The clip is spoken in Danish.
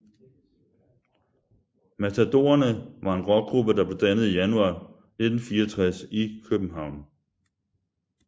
Matadorerne var en rockgruppe der blev dannet i januar 1964 i København